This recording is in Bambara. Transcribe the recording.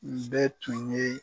Nin bɛɛ tun ye.